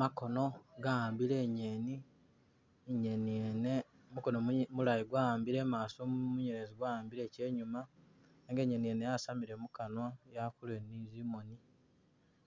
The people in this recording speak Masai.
Makono gawambile inyeni , inyeni yene mukono mu mulayi gwawambile imaaso munyelezi gwawambile che inyuma nenga inyeni ngene yasamile mukanwa yakolele ne tsimoni